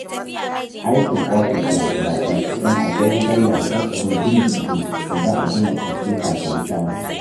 Aikin ofis ya fi daɗi, don akwai wutar lantarki din-din-din da za a jona kwamfuta ta yi caji